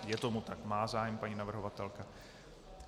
Je tomu tak, má zájem paní navrhovatelka.